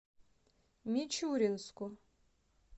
мичуринску